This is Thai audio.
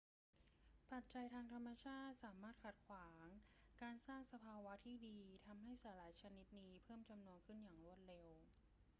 ปัจจัยทางธรรมชาติสามารถขัดขวางการสร้างสภาวะที่ดี ทำให้สาหร่ายชนิดนี้เพิ่มจำนวนขี้นอย่างรวดเร็ว